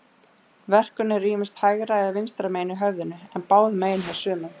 Verkurinn er ýmist hægra eða vinstra megin í höfðinu, en báðum megin hjá sumum.